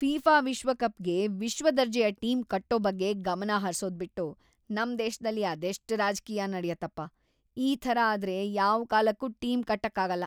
FIFA ವಿಶ್ವಕಪ್ಗೆ ವಿಶ್ವದರ್ಜೆಯ team ಕಟ್ಟೋ ಬಗ್ಗೆ ಗಮನ ಹರ್ಸೋದ್ಬಿಟ್ಟು ನಮ್ ದೇಶ್ದಲ್ಲಿ ಅದೆಷ್ಟ್‌ ರಾಜ್ಕೀಯ ನಡ್ಯತ್ತಪ.. ಈ ಥರ ಆದ್ರೆ ‌ಯಾವ್‌ ಕಾಲಕ್ಕೂ ಟೀಮ್ ಕಟ್ಟಕ್ಕಾಗಲ್ಲ.